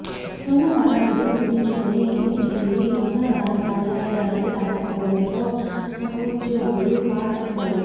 సోమవారం విధులు ముగించుకొని ఇంటికి వెళ్లి మంగళవారం కార్యాలయానికి రాకపోవడంతో సహోద్యోగులు కాల్ చేశారు